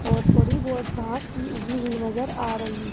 और थोड़ी बहुत घास भी उगी हुई नजर आ रही --